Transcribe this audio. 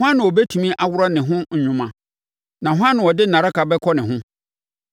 Hwan na ɔbɛtumi aworɔ ne ho nwoma, na hwan na ɔde nnareka bɛkɔ ne ho?